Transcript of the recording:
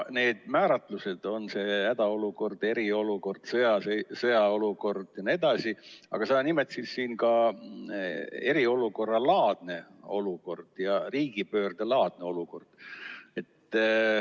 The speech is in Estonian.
Need määratlused – on see hädaolukord, eriolukord, sõjaolukord jne –, aga sa nimetasid siin ka eriolukorralaadset olukorda ja riigipöördelaadset olukorda.